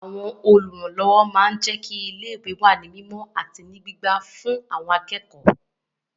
Àwọn Olùrànlọ́wọ́ máa ń jẹ́kí ilé wà ní mímọ àti wà ní pípa ọ́ fún àwọn akẹ́kọ̀ọ́